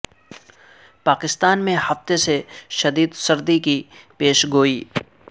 پاکستان میں ہفتے سے شدید سردی کی پیش گوئی